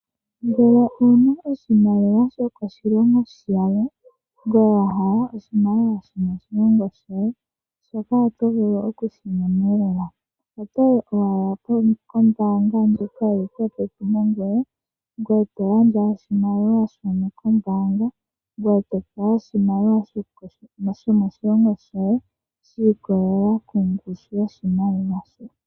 Ngeke owuna oshimaliwa shoko shilongo shalwe ngoye wahala oshimaliwa sho moshilongo shoye , shoka oto vulu okushi mona lela. Otoyi owala ko mbaanga ndjoka yili popepi nangoye , ngoye to gandja oshimaliwa shono ko mbaanga ngoye topewa oshimaliwa sho moshilongo shoye shii kolelela kongushu yoshimaliwa shono wa gandja.